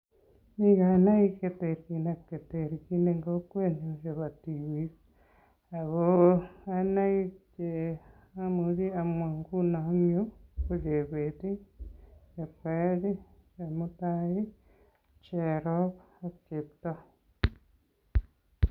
Mi kainaik cheterchin ak cheterchin eng kokwenyu chebo tipik Ako kainaik cheamuchin amwa nguni eng yu ko Chebet Chepkoech Chemutai Cherop ak Cheptoo